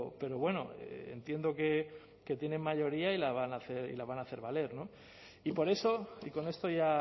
pero bueno entiendo que tienen mayoría y la van a hacer valer y por eso y con esto ya